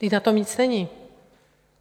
Vždyť na tom nic není.